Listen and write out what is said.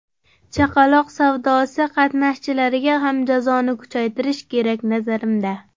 Chaqaloq savdosi qatnashchilariga ham jazoni kuchaytirish kerak, nazarimda.